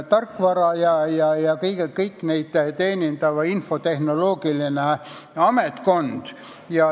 Tarkvara ja seadmete teenindamiseks on vajalik infotehnoloogiline personal.